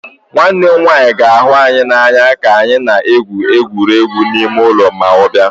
Nwanne m nwanyị ga-ahụ anyị n'anya ka anyị na-egwu egwuregwu ime ụlọ ma ọ bịa